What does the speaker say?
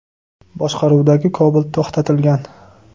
boshqaruvidagi Cobalt to‘xtatilgan.